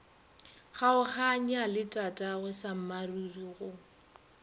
kgaoganya le tatagwe sammaruri go